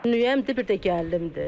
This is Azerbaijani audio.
Dünən mən də bir də gəlimdi.